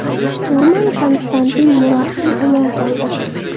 Shturman Konstantin Muraxtin omon qoldi.